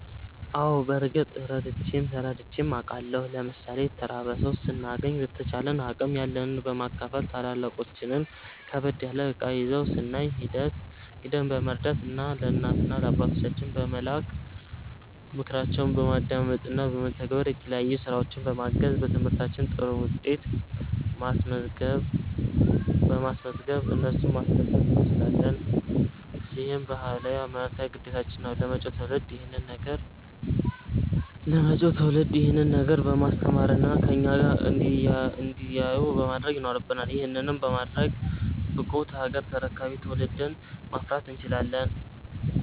አዎ በርግጥ ረድቼም ተረድቼም አቃለሁ። ለምሣሌ የተራበ ሠው ስናገኝ በተቻለን አቅም ያለንን በማካፈል፣ ታላላቆቻችን ከበድ ያለ እቃ ይዘው ስናይ ሂደን በመርዳት፣ ለእናት ለአባቶቻችን በመላክ፣ ምክራቸውን በማዳመጥ እና በመተግበር፣ የተለያዩ ስራዎች በማገዝ፣ በትምህርታችን ጥሩ ውጤት በማስዝገብ እነሱን ማስደሰት እንችላለን። ይህም ባህላዊም ሀይማኖታዊም ግዴታችን ነው። ለመጪው ትውልድ ይሄንን ነገር በማስተማር እና ከኛ እንዲያዩ ማድረግ ይኖረብናል። ይህንንም በማድረግ ብቁ ሀገር ተረካቢ ትውልድን ማፍራት እንችላለን።